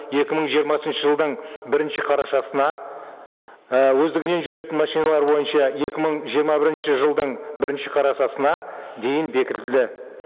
екі мың жиырмасыншы жылдың бірінші қарашасына і өздігінен жүретін машиналар бойынша екі мың жиырма бірінші жылдың бірінші қарашасына дейін бекітілді